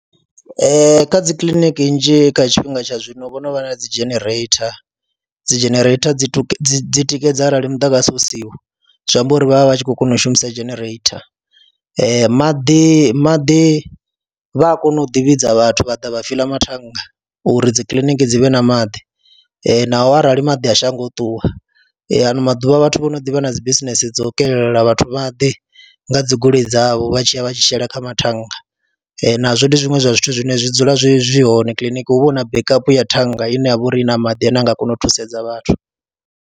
Ee, kha dzi kiḽiniki nnzhi kha tshifhinga tsha zwino vho no vha na dzi genereitha, dzi genereitha dzi dzi tikedza arali muḓagasi u siho zwi amba uri vha vha vha tshi khou kona u shumisa genereitha. Maḓi maḓi vha a kona u ḓivhidza vhathu vha ḓa vha fiḽa mathannga uri dzi kiḽiniki dzi vhe na maḓi naho arali maḓi a shango ṱuwa, ano maḓuvha vhathu vho no ḓi vha na dzi bisinese dzo kelela vhathu maḓi, ndi nga dzi goloi dzavho vha tshi ya vha tshi shela kha mathannga nazwo ndi zwiṅwe zwa zwithu zwine zwi dzula zwi zwi hone kiḽiniki, hu vha hu na backup ya thannga ine ya vha uri i na maḓi ane a nga kona u thusedza vhathu.